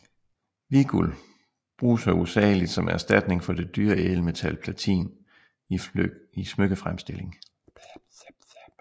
Hvidguld bruges hovedsageligt som erstatning for det dyre ædelmetal platin i smykkefremstilling